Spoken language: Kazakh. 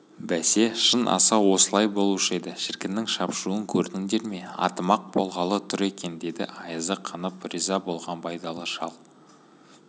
бәсе шын асау осылай болушы еді шіркіннің шапшуын көрдіңдер ме атым-ақ болғалы тұр екен деді айызы қанып риза болған байдалы шал